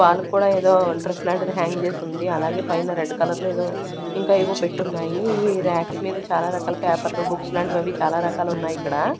వాళ్ళకి కూడా ఏదో డ్రెస్ లాంటిది హ్యాంగ్ చేసి ఉంది అలాగే పైన రెడ్ కలర్ లో ఏదో ఇంకా ఏవో పెట్టున్నాయి ఈ రాక్స్ మీద చాలా రకాల పేపర్లు బుక్స్ లాంటివి అవి చాలా రకాలు ఉన్నాయి ఇక్కడ.